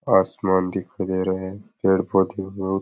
आसमान दिख रहा है पेड़ पौधे है।